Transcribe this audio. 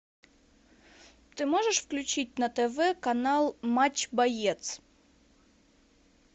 ты можешь включить на тв канал матч боец